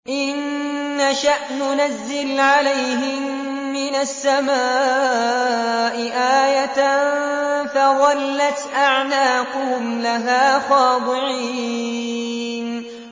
إِن نَّشَأْ نُنَزِّلْ عَلَيْهِم مِّنَ السَّمَاءِ آيَةً فَظَلَّتْ أَعْنَاقُهُمْ لَهَا خَاضِعِينَ